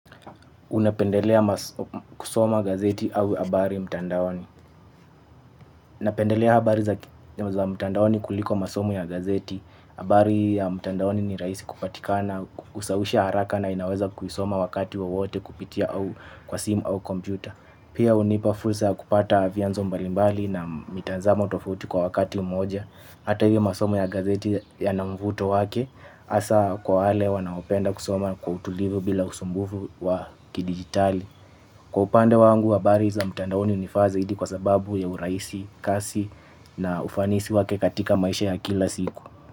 Unapendelea kusoma gazeti au habari mtandaoni. Unapendelea habari za mtandaoni kuliko masomo ya gazeti. Abari ya mtandaoni ni raisi kupatika na usawisha haraka na inaweza kuisoma wakati wowote kupitia kwa simu au kompyuta. Pia unipa fusra kupata vyanzo mbalimbali na mitazamo tofauti kwa wakati mmoja. Ata hivyo masomo ya gazeti yanamvuto wake. Asa kwa wale wanaopenda kusoma kwa utulivu bila usumbufu wa kidigitali. Kwa upande wangu, habari za mtandaoni unifaa zaidi kwa sababu ya uraisi, kasi na ufanisi wake katika maisha ya kila siku.